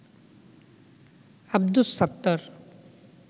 Abdus Sattar